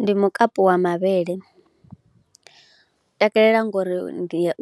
Ndi mukapu wa mavhele, ndi u takalela ngori